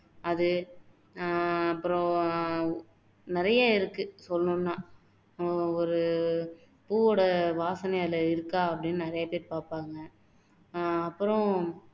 அது ஆஹ் அப்பறம் நிறைய இருக்கு சொல்லணும்னா ஆஹ் ஒரு பூவோட வாசனை அதுல இருக்கா அப்படின்னு நிறைய பேர் பாப்பாங்க ஆஹ் அப்பறம்